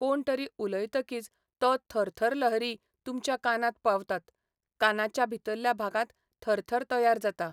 कोणतरी उलयतकीच तो थरथरलहरी तुमच्या कानांत पावतात, कानाच्या भितरल्या भागांत थरथर तयार जाता.